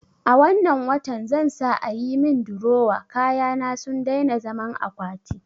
A wannan watan zan sa ayi min durowa, kayana sun daina zaman akwati